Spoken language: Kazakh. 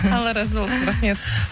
алла разы болсын рахмет